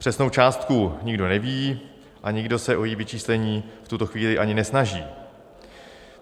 Přesnou částku nikdo neví a nikdo se o její vyčíslení v tuto chvíli ani nesnaží.